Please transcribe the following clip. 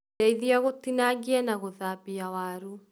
Ndeithĩa gũtinangia na gũthambia waru